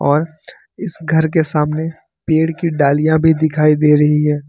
और इस घर के सामने पेड़ की डालियां भी दिखाई दे रही है।